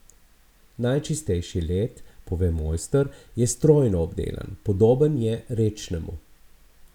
Najčistejši led, pove mojster, je strojno obdelan, podoben je rečnemu.